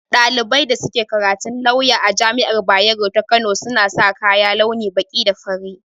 Ɗaliban da suke karatun lawya a jami'ar bayero ta kano, suna sa kaya launin baƙi da fari